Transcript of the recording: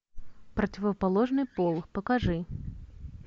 противоположный пол покажи